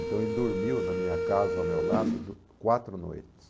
Então ele dormiu na minha casa, ao meu lado, do quatro noites.